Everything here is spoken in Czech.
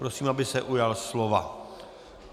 Prosím, aby se ujal slova.